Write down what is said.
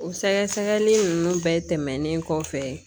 O sɛgɛsɛgɛli nunnu bɛɛ tɛmɛnen kɔfɛ